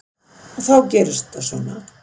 Og þá gerist þetta svona.